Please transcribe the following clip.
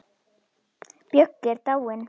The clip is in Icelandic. Böggi er dáinn.